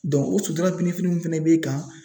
o sutura birifini fana b'e kan.